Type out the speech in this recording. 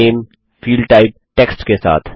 नामे field type text के साथ